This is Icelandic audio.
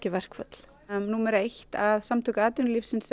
verkföll númer eitt að Samtök atvinnulífsins